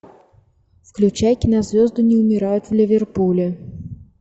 включай кинозвезды не умирают в ливерпуле